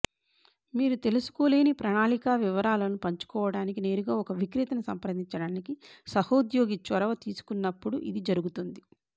మీరు తెలుసుకోలేని ప్రణాళిక వివరాలను పంచుకోవడానికి నేరుగా ఒక విక్రేతను సంప్రదించడానికి సహోద్యోగి చొరవ తీసుకున్నప్పుడు ఇది జరుగుతుంది